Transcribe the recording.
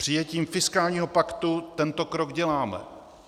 Přijetím fiskálního paktu tento krok děláme.